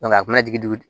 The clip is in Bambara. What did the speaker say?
a bɛna jigin dugu